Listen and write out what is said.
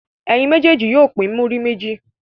Ẹ̀yin méjèèjì yóò pín múrí méjì.